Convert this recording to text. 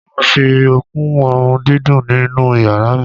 Mo máa fi kún òórùn dídùn inú yàrá mi.